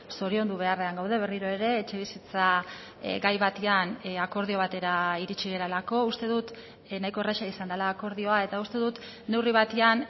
zoriondu beharrean gaude berriro ere etxebizitza gai batean akordio batera iritsi garelako uste dut nahiko erraza izan dela akordioa eta uste dut neurri batean